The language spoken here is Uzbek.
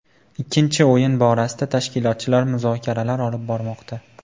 Ikkinchi o‘yin borasida tashkilotchilar muzokaralar olib bormoqda.